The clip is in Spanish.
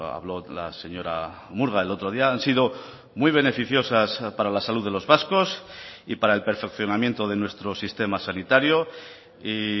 habló la señora murga el otro día han sido muy beneficiosas para la salud de los vascos y para el perfeccionamiento de nuestro sistema sanitario y